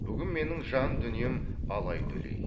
бүгін менің жан дүнием алай дүлей